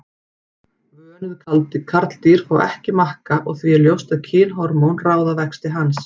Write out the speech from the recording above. Vönuð karldýr fá ekki makka og því er ljóst að kynhormón ráða vexti hans.